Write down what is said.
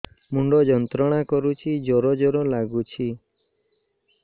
ମୁଣ୍ଡ ଯନ୍ତ୍ରଣା କରୁଛି ଜର ଜର ଲାଗୁଛି